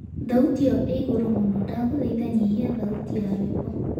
thaũtĩ iyo i iguru muno ndagũthaĩtha nyĩhĩa thaũtĩ ya rwĩmbo